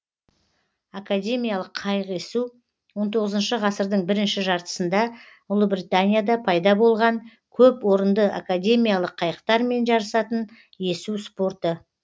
академиялық қайық есу он тоғызыншы ғасырдың бірінші жартысында ұлыбританияда пайда болған көпорынды академиялық қайықтармен жарысатын есу спорты